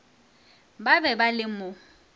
ba be ba le mo